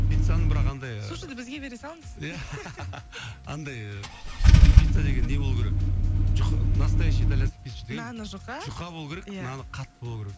пиццаның бірақ андай сушиді бізге бере салыңыз иә андай пицца деген не болу керек настоящий италянский пица деген наны жұқа жұқа болу керек наны қатты болу керек